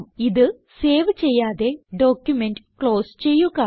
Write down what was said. ഇത് സേവ് ചെയ്യാതെ document close ചെയ്യുക